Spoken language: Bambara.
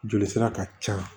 Joli sira ka ca